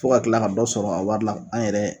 Fo ka tila ka dɔ sɔrɔ a wari la an yɛrɛ